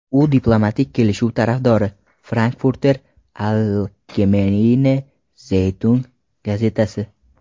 u diplomatik kelishuv tarafdori – "Frankfurter Allgemeine Zeitung" gazetasi.